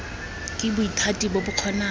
ke bothati bo bo kgonang